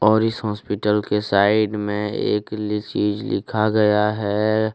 और इस हॉस्पिटल के साइड में एकली चीज लिखा गया है।